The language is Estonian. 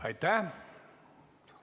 Aitäh!